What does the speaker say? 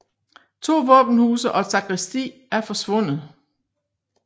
To våbenhuse og et sakristi er forsvundet